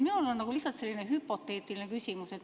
Minul on lihtsalt selline hüpoteetiline küsimus.